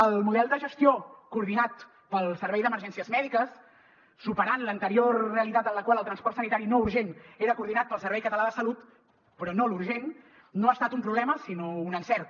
el model de gestió coordinat pel servei d’emergències mèdiques superant l’anterior realitat en la qual el transport sanitari no urgent era coordinat pel servei català de la salut però no l’urgent no ha estat un problema sinó un encert